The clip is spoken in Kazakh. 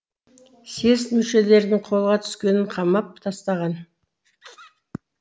съезд мүшелерінің қолға түскенін қамап тастаған